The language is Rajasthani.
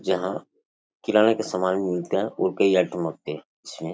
जहां किराणे का सामान भी मिलता है और कई आइटम होते हैं।